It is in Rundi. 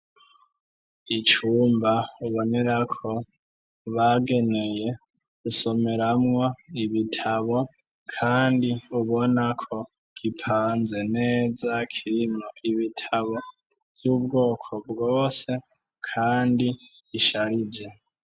Icumba ubonera ko bageneye gusomeramwo ibitabo kandi ubona ko gipanze neza kirimwo ibitabo vy'ubwoko bwose kandi gisharije.